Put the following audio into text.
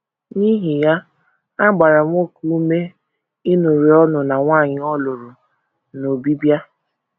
N’ihi ya, a gbara nwoke ume ịṅụrị ọṅụ na nwanyị ọ lụrụ n’Obibịa.